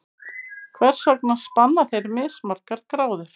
Hvers vegna spanna þeir mismargar gráður?